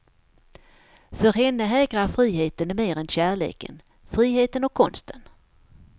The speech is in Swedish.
För henne hägrar friheten mer än kärleken, friheten och konsten.